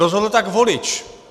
Rozhodl tak volič.